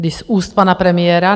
Když z úst pana premiéra...